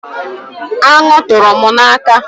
Anụ tụrụ m n’aka